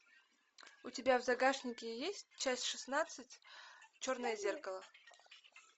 у тебя в загашнике есть часть шестнадцать черное зеркало